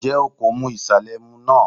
Ǹjẹ́ o kò mu ìsàlẹ̀ ẹmu náà?